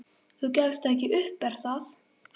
Þú gefst ekki upp, er það?